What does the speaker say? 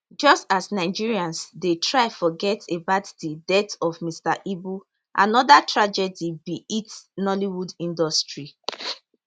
just as nigerians dey try forget about di death of mr ibu anoda tragedy bin hit nollywood industry